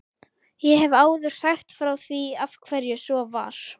Ég hef áður sagt frá því af hverju svo var.